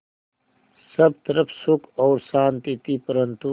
सब तरफ़ सुख और शांति थी परन्तु